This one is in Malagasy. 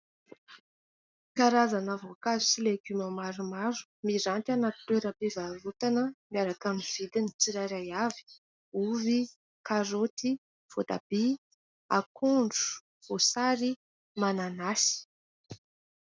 Karazana voankazo sy legioma maromaro miranty anaty toeram-pivarotana miaraka amin'ny vidiny tsirairay avy. Ovy, karoty, voatabia, akondro, voasary, mananasy.